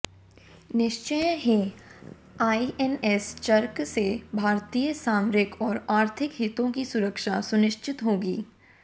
निश्चय ही आईएनएस च्रक से भारतीय सामरिक और आर्थिक हितों की सुरक्षा सुनिश्चित होगी